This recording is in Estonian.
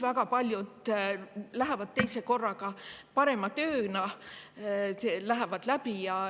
" Väga paljud lähevad teisel korral parema tööga, mis läheb läbi.